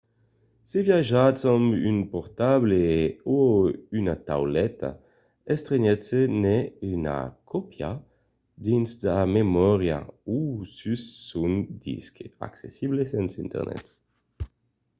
se viatjatz amb un portable o una tauleta estrematz-ne una còpia dins sa memòria o sus son disc accessible sens internet